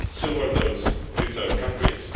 so are those to third countries.